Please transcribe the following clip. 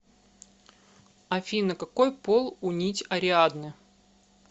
афина какой пол у нить ариадны